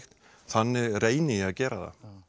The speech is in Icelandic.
þannig reyni ég að gera það